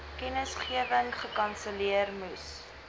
kennisgewing gekanselleer moes